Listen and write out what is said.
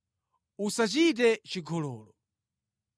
“Usachite chigololo.